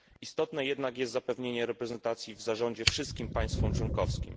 Istotne jednak jest zapewnienie reprezentacji w zarządzie wszystkim państwom członkowskim.